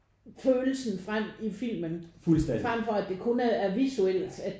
Følelsen frem i filmen frem for at det kun er er visuelt